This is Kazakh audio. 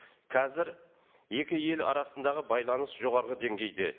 қазір екі ел арасындағы байланыс жоғарғы деңгейде